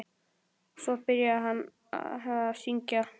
Svo var byrjað að syngja.